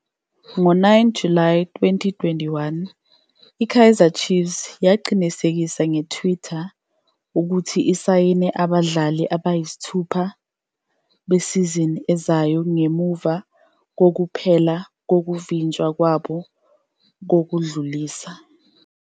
Ngo-9 July 2021, i-Kaizer Chiefs yaqinisekisa nge-Twitter ukuthi isayine abadlali abayisithupha besizini ezayo ngemuva kokuphela kokuvinjelwa kwabo kokudlulisa.